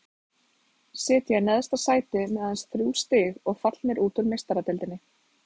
Sitja í neðsta sæti með aðeins þrjú stig og fallnir út úr Meistaradeildinni.